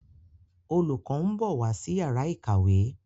Olùkó nbọ wá sí Yàrá ìkàwé.